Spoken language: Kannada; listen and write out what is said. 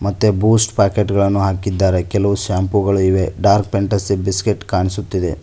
ಮತ್ತೆ ಬೂಸ್ಟ್ ಪಾಕೆಟ್ ಗಳನ್ನು ಹಾಕಿದ್ದಾರೆ ಕೆಲವು ಶಾಂಪುಗಳು ಇವೆ ಡಾರ್ಕ್ ಫ್ಯಾಂಟಸಿ ಬಿಸ್ಕೆಟ್ ಕಾಣಿಸುತ್ತಿದೆ.